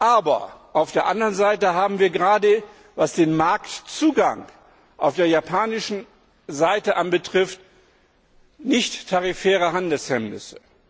Aber auf der anderen Seite haben wir gerade, was den Marktzugang auf der japanischen Seite anbelangt, nichttarifäre Handelshemmnisse.